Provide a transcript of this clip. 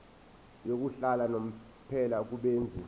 yokuhlala unomphela kubenzi